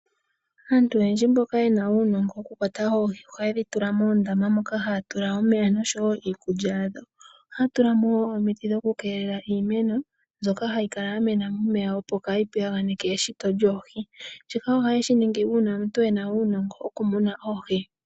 Aantu oyendji mboka ye na uunongo wokukwata oohi ohaye dhi tula moondama moka haya tula omeya osho wo iikulya yadho. Ohaya tula mo wo omiti dhokukeelela iimeno mbyoka hayi kala ya mena momeya, opo kaayi piyaganeke eshito lyoohi. Shika ohaye shi ningi uuna omuntu e na uunongo wokumuna oohi.